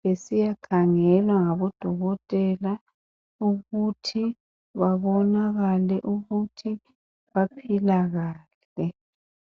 besiya khangelwa ngabo dokotela ukuthi babonakale ukuthi baphila kahle.